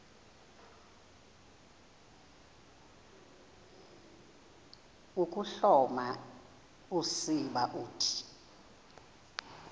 ukuhloma usiba uthi